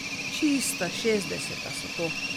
Čista šestdeseta so to!